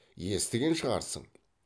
естіген шығарсың